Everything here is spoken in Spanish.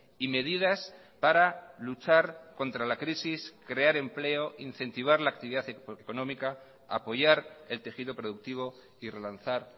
y medidas para luchar contra la crisis crear empleo incentivar la actividad económica apoyar el tejido productivo y relanzar